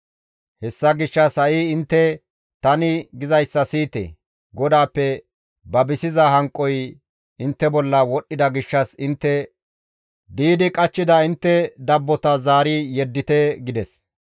Hessa gishshas ha7i intte tani gizayssa siyite; GODAAPPE babisiza hanqoy intte bolla wodhdhida gishshas intte di7idi qachchida intte dabbota zaari yeddite» gides.